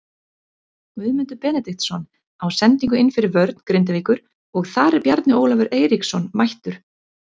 Guðmundur Benediktsson á sendingu inn fyrir vörn Grindavíkur og þar er Bjarni Ólafur Eiríksson mættur.